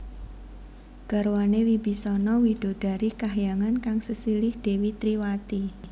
Garwané Wibisana widodari kahyangan kang sesilih Dèwi Triwati